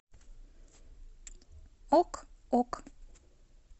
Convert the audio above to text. ок ок